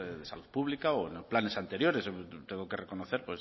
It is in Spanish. de salud pública o planes anteriores tengo que reconocer